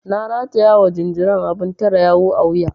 Na rataya ma jinjiran abun tare yawu a wuya.